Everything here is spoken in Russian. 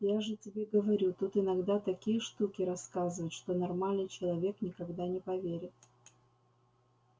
я же тебе говорю тут иногда такие штуки рассказывают что нормальный человек никогда не поверит